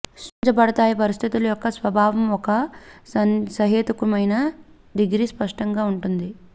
సృష్టించబడతాయి పరిస్థితుల యొక్క స్వభావం ఒక సహేతుకమైన డిగ్రీ స్పష్టంగా ఉంటుంది